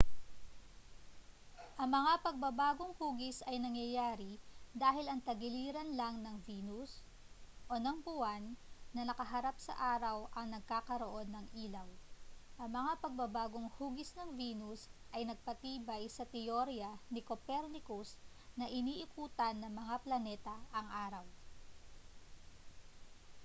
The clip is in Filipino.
ang mga pagbabagong-hugis ay nangyayari dahil ang tagiliran lang ng venus o ng buwan na nakaharap sa araw ang nagkakaroon ng ilaw. ang mga pagbabagong-hugis ng venus ay nagpatibay sa teorya ni copernicus na iniikutan ng mga planeta ang araw